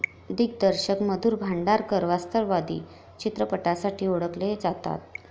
दिग्दर्शक मधुर भांडारकर वास्तववादी चित्रपटांसाठी ओळखले जातात.